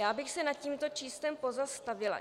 Já bych se nad tímto číslem pozastavila.